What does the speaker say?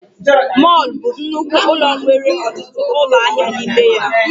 Mọlụ bụ nnukwu ụlọ nwere ọtụtụ ụlọ ahịa na ime ya